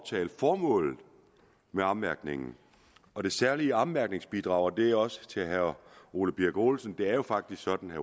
formålet med ommærkningen og det særlige ommærkningsbidrag og det er også til herre ole birk olesen det er faktisk sådan